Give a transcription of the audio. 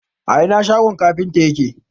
a Ina shogon kafintan yake?